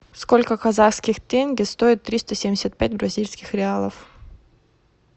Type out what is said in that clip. сколько казахских тенге стоит триста семьдесят пять бразильских реалов